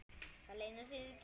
Það leynir sér ekki.